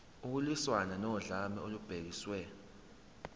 ukulwiswana nodlame olubhekiswe